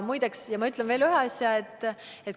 Ma ütlen veel ühe asja.